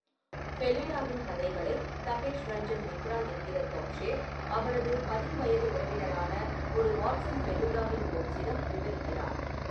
ஃபெலுடாவின் கதைகளை தபேஷ் ரஞ்சன் மித்ரா என்கிற தொப்ஷே, அவரது பதின்வயது உறவினரான, ஒரு வாட்சன் ஃபெலுடாவின் ஹோம்ஸிடம் விவரிக்கிறார்.